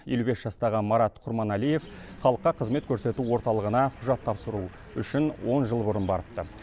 елу бес жастағы марат құрманалиев халыққа қызмет көрсету орталығына құжат тапсыру үшін он жыл бұрын барыпты